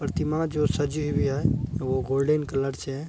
प्रतिमा जो सजी हुई है वो गोल्डेन कलर से है।